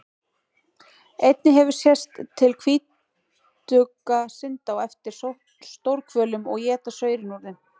Einnig hefur sést til hvítugga synda á eftir stórhvölum og éta saurinn úr þeim.